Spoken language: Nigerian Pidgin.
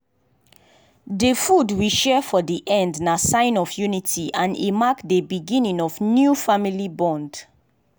dey food we share for dey end na sign of unity and e mark dey beginning of new family bond.